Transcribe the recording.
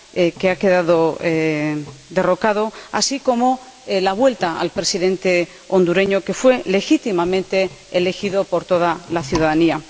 que ha quedado derrocado, y para conseguir la vuelta del Presidente hondureño, que fue legítimamente elegido por toda la ciudadanía.